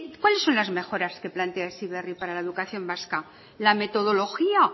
cuáles son las mejoras que plantea heziberri para la educación vasca la metodología